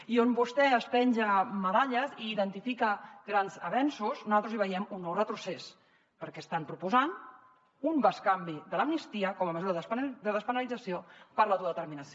i on vostè es penja medalles i identifica grans avenços nosaltres hi veiem un nou retrocés perquè estan proposant un bescanvi de l’amnistia com a mesura de despenalització per l’autodeterminació